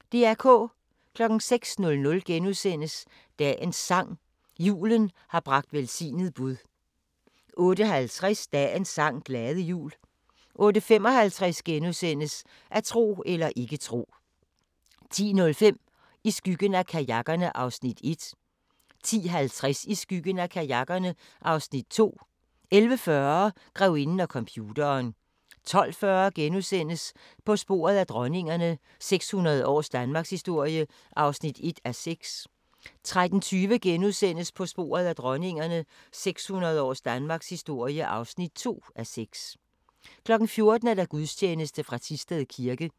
06:00: Dagens sang: Julen har bragt velsignet bud * 08:50: Dagens sang: Glade jul 08:55: At tro eller ikke tro * 10:05: I skyggen af kajakkerne (Afs. 1) 10:50: I skyggen af kajakkerne (Afs. 2) 11:40: Grevinden og computeren 12:40: På sporet af dronningerne – 600 års danmarkshistorie (1:6)* 13:20: På sporet af dronningerne – 600 års danmarkshistorie (2:6)* 14:00: Gudstjeneste fra Thisted kirke